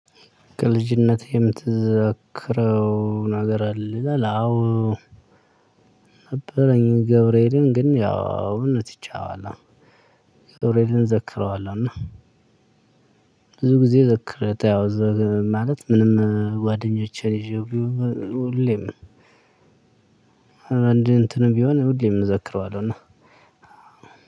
ከልጅነትህ የምትዘክረው ነገር አለ ይላል። አዎ ነበረኝ ገብርኤልን ግን አሁን ትቼዋለው። ገብርኤልን ዘክረዋለሁ እና ብዙ ጊዜ ጓደኞቼን ይዤ እንዲህ እንትን ቢሆን ሁሌም እዘክረዋለሁና